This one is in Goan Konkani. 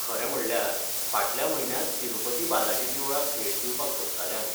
खरें म्हणल्यार, फाटल्या म्हयन्यांत तिरुपति बालाजी देवळाक भेट दिवपाक सोदताले आमी.